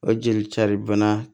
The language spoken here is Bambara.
O jeli cari bana